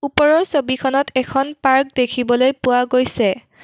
ওপৰৰ ছবিখনত এখন পাৰ্ক দেখিবলৈ পোৱা গৈছে।